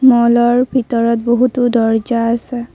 মল ৰ ভিতৰত বহুতো দৰ্জা আছে।